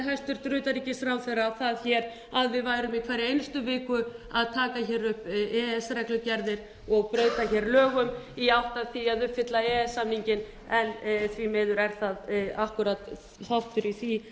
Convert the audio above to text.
hæstvirts utanríkisráðherra það hér að við værum í hverri einustu viku að taka hér upp e e s reglugerðir og breyta hér lögum í átt að því að uppfylla e e s samninginn en því miður er það akkúrat þáttur í því